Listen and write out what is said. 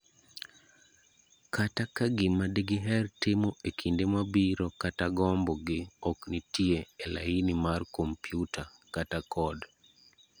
Kata kagima digiher timo ekinde mabiro kata gombo gi ok nitie elaini mar kompiuta, kata code.